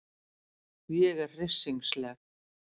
Ég er hryssingsleg.